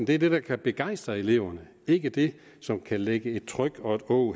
det der kan begejstre eleverne ikke det som kan lægge et tryk og et åg